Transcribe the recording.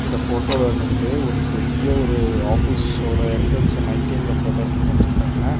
இந்த போட்டோல நின்னுகிட்டு ஒரு பெரிய ஒரு ஆபீஸோட என்ட்ரன்ஸ நைட் டைம்ல போட்டோ எடுத்து காமிச்சி இருக்காங்க.